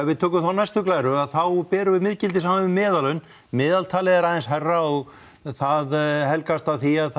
við tökum þá næstu glæru þá berum við miðgildið saman við meðallaun meðaltalið er aðeins hærra og en það helgast af því að